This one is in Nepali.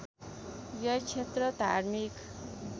यो क्षेत्र धार्मिक